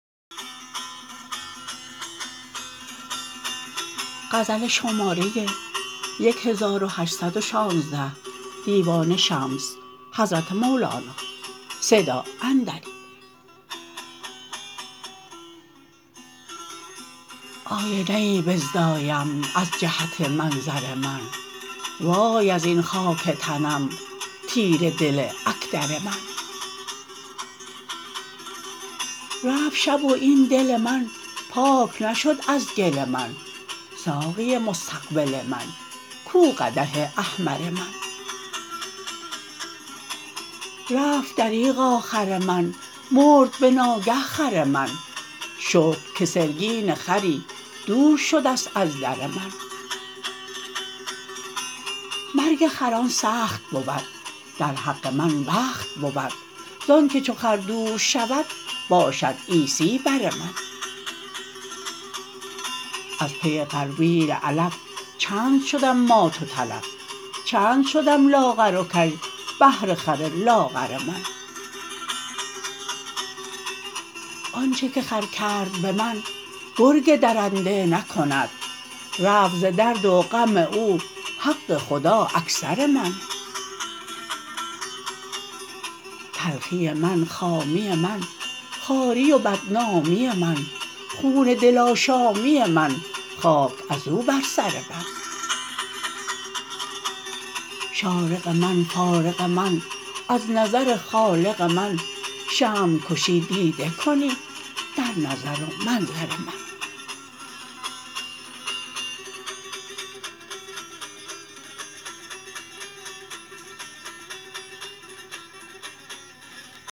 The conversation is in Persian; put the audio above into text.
آینه ای بزدایم از جهت منظر من وای از این خاک تنم تیره دل اکدر من رفت شب و این دل من پاک نشد از گل من ساقی مستقبل من کو قدح احمر من رفت دریغا خر من مرد به ناگه خر من شکر که سرگین خری دور شده ست از در من مرگ خران سخت بود در حق من بخت بود زانک چو خر دور شود باشد عیسی بر من از پی غربیل علف چند شدم مات و تلف چند شدم لاغر و کژ بهر خر لاغر من آنچ که خر کرد به من گرگ درنده نکند رفت ز درد و غم او حق خدا اکثر من تلخی من خامی من خواری و بدنامی من خون دل آشامی من خاک از او بر سر من شارق من فارق من از نظر خالق من شمع کشی دیده کنی در نظر و منظر من